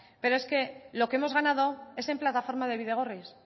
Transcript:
pero es que lo que hemos ganado es en plataforma de bidegorris